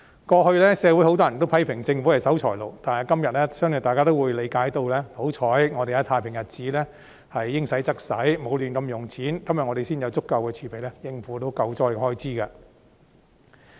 過去社會有很多人批評政府是守財奴，但今天相信大家也會理解，幸好我們在太平日子應花則花，沒有胡亂花費，今天才有足夠的儲備應付救災的開支。